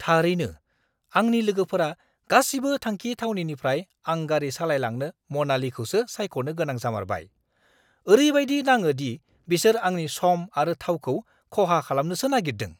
थारैनो, आंनि लोगोफोरा गासिबो थांखि थावनिनिफ्राय आं गारि सालायलांनो मानालीखौसो सायख'नो गोनां जामारबाय! ओरैबायदि नाङो दि बिसोर आंनि सम आरो थावखौ खहा खालामनोसो नागिरदों!